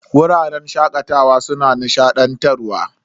Wuraren shakatawa suna nishadantarwa.